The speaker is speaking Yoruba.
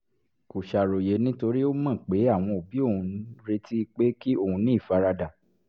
kò ṣàròyé nítorí ó mọ̀ pé àwọn òbí òun ń retí pé kí òun ní ìfaradà